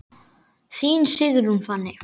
Þín Sigrún Fanney.